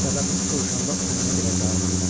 Səbəbini soruşanda o mənə belə cavab verdi: